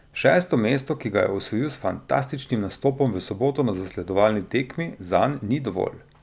Šesto mesto, ki ga je osvojil s fantastičnim nastopom v soboto na zasledovalni tekmi, zanj ni dovolj.